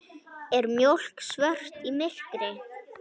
Er mjólk svört í myrkri?